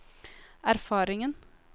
erfaringen